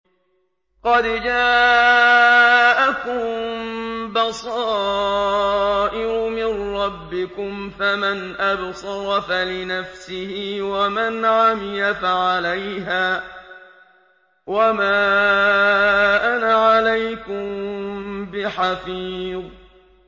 قَدْ جَاءَكُم بَصَائِرُ مِن رَّبِّكُمْ ۖ فَمَنْ أَبْصَرَ فَلِنَفْسِهِ ۖ وَمَنْ عَمِيَ فَعَلَيْهَا ۚ وَمَا أَنَا عَلَيْكُم بِحَفِيظٍ